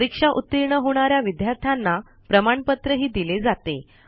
परीक्षा उतीर्ण होणा या विद्यार्थ्यांना प्रमाणपत्रही दिले जाते